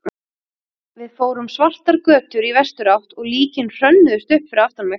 Við fórum svartar götur í vesturátt og líkin hrönnuðust upp fyrir aftan mig.